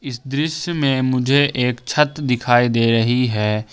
इस दृश्य में मुझे एक छत दिखाई दे रही है।